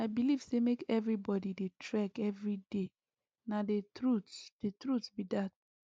i believe say make everybody dey try trek every day na the truth the truth be that